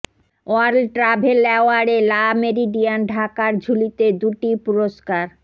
world travel অ্যাওয়ার্ডে Le Meridien ঢাকার ঝুলিতে দুটি পুরস্কার